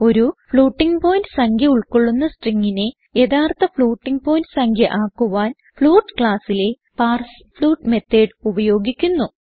ഒരു floating point സംഖ്യ ഉൾകൊള്ളുന്ന stringനെ യഥാർത്ഥ ഫ്ലോട്ടിംഗ് പോയിന്റ് സംഖ്യ ആക്കുവാൻ ഫ്ലോട്ട് classലെ പാർസ്ഫ്ലോട്ട് മെത്തോട് ഉപയോഗിക്കുന്നു